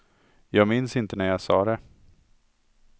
Jag minns inte när jag sa det.